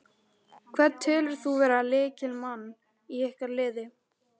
Hvern telur þú vera lykilmann í ykkar liði?